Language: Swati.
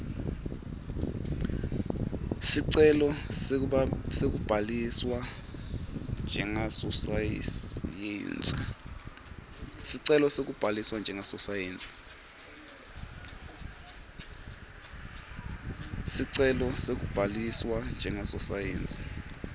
sicelo sekubhaliswa njengasosayensi